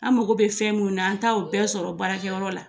An mago bɛ fɛn mun na an ta o bɛɛ sɔrɔ baarakɛyɔrɔ la